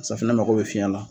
Safunɛ mako bɛ fiyɛn la.